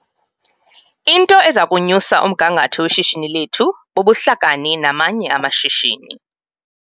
Into eza kunyusa umgangatho weshishini lethu bubuhlakani namanye amashishini.